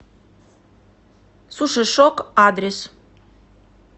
сушишок адрес